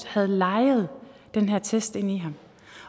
havde leget den her test ind i ham